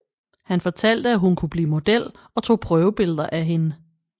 Han fortalte at hun kunne blive model og tog prøvebilleder af hende